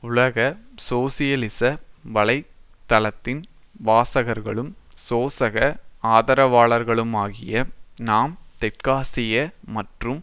உலக சோசியலிச வலை தளத்தின் வாசகர்களும் சோசக ஆதரவாளர் களுமாகிய நாம் தெற்காசிய மற்றும்